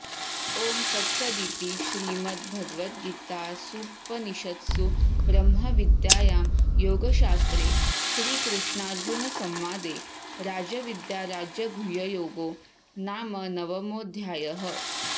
ॐ तत्सदिति श्रीमद्भगवद्गीतासूपनिषत्सु ब्रह्मविद्यायां योगशास्त्रे श्रीकृष्णार्जुनसंवादे राजविद्याराजगुह्ययोगो नाम नवमोऽध्यायः